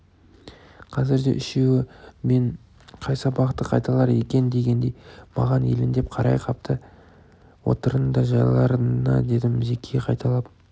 қазір де үшеуі мен қай сабақты қайталар екен дегендей маған елеңдеп қарай қапты отырыңдар жайларыңа дедім зеки қайталап